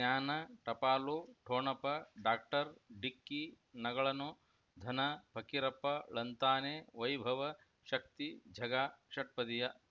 ಜ್ಞಾನ ಟಪಾಲು ಠೊಣಪ ಡಾಕ್ಟರ್ ಢಿಕ್ಕಿ ಣಗಳನು ಧನ ಫಕೀರಪ್ಪ ಳಂತಾನೆ ವೈಭವ್ ಶಕ್ತಿ ಝಗಾ ಷಟ್ಪದಿಯ